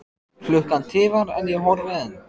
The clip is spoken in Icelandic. Klukkan tifar en ég horfi enn.